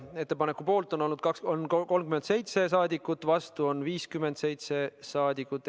Ettepaneku poolt on 37 saadikut, vastu on 57 saadikut.